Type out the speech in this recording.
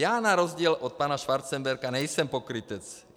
Já na rozdíl od pana Schwarzenberga nejsem pokrytec.